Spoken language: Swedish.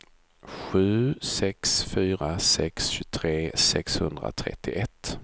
sju sex fyra sex tjugotre sexhundratrettioett